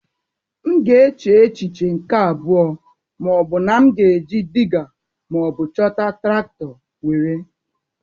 M ga-eche echiche nke abụọ ma ọ bụrụ na m ga-eji Dịgga ma ọ bụ chọta traktọ were.